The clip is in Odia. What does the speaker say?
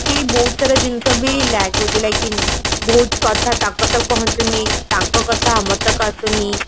କି ବହୁତ ସାରା ଜିନିଷ ବି lack ହଉଛି like ବହୁତ କଥା ତାଙ୍କ ତକ ପହଞ୍ଚୁନି ତାଙ୍କ କଥା ଆମ ତକ ଆସୁନି